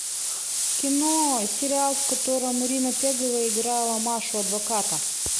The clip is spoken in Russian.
кино сериал в котором ирина пегова играла машу адвоката